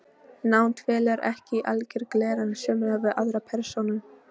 Nánd felur ekki í sér algeran samruna við aðra persónu.